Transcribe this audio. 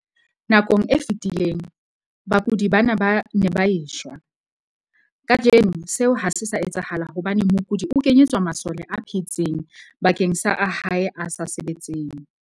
Nakong e fetileng, bakudi bana ba ne ba e shwa. Kajeno seo ha se sa etsahala hobane mokudi o kenyetswa masole a phetseng bakeng sa a hae a sa sebetseng.